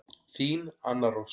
Þín Anna Rós.